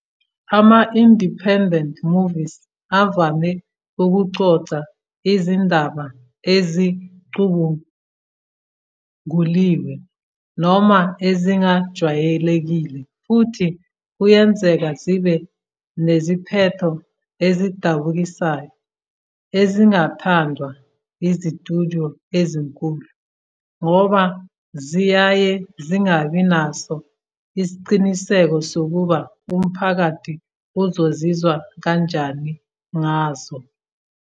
Ama-Independent movies avame ukuxoxa izindaba ezicubunguliwe noma ezingajwayelekile futhi kuyenzeka zibe neziphetho ezidabukisayo ezingathandwa izitudyo ezinkulu ngoba ziyaye zingabi naso isiqiniseko sokuba umphakathi uzozizwa kanjani ngazo.